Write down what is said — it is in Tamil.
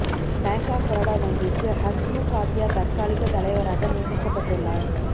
பாங்க் ஆப் பரோடா வங்கிக்கு ஹஸ்முக் ஆத்யா தற்காலிக தலைவராக நியமிக்கப்பட்டுள்ளார்